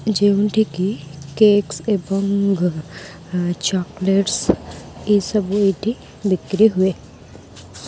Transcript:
ଯେଉଁଠିକି କେକ୍ସ୍ ଏବଂ ଚକ୍ଲେଟ୍ଶ୍ ଏଇ ସବୁ ଏଠି ବିକ୍ରି ହୁଏ।